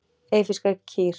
Eyfirskar kýr.